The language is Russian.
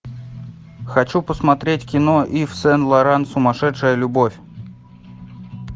хочу посмотреть кино ив сен лоран сумасшедшая любовь